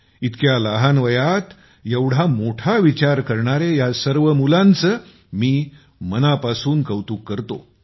इतक्या लहान वयात एवढा मोठा विचार करणाऱ्या या सर्व मुलांचे मी मनापासून कौतुक करतो